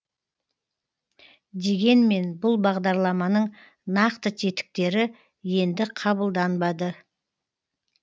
дегенмен бұл бағдарламаның нақты тетіктері енді қабылданады